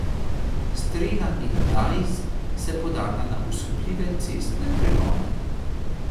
Strela in Dajz se podata na osupljive cestne pregone.